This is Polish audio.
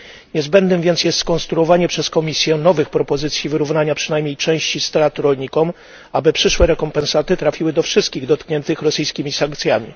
Niezbędne jest więc skonstruowanie przez Komisję nowych propozycji wyrównania przynajmniej części strat rolnikom, aby przyszłe rekompensaty trafiły do wszystkich dotkniętych rosyjskimi sankcjami.